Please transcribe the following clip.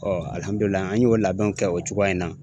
an y'o labɛnw kɛ o cogoya in na.